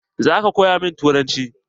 Zaka koya min turanci?